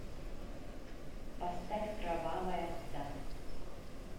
поставь кровавая дама